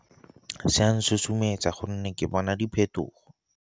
Se a nsusumetsa gonne ke bona diphetogo.